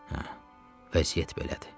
Hə, vəziyyət belədir.